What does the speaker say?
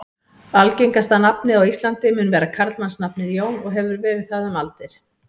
Algengasta nafnið á Íslandi mun vera karlmannsnafnið Jón og hefur verið það um aldir.